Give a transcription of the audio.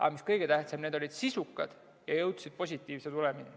Aga mis kõige tähtsam, need olid sisukad ja jõudsid positiivse tulemini.